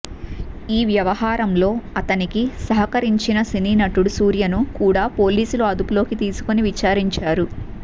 ఈ వ్యవహారంలో అతనికి సహకరించిన సినీ నటుడు సూర్యను కూడా పోలీసులు అదుపులోకి తీసుకుని విచారించారు